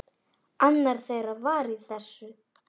Annar þeirra var í þessu!